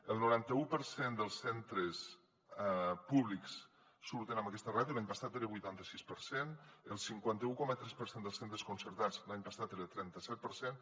el noranta u per cent dels centres públics surten amb aquesta ràtio l’any passat era el vuitanta sis per cent el cinquanta un coma tres per cent de centres concertats l’any passat era el trenta set per cent